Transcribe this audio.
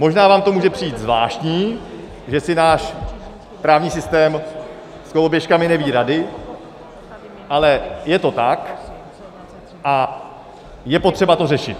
Možná vám to může přijít zvláštní, že si náš právní sytém s koloběžkami neví rady, ale je to tak a je potřeba to řešit.